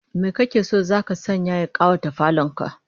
Me kake so zaka sanya ya kawata falon ka?